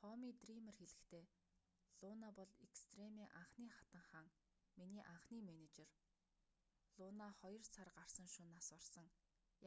томми дриймер хэлэхдээ луна бол экстремийн анхны хатан хаан миний анхны менежер луна хоёр сар гарсан шөнө нас барсан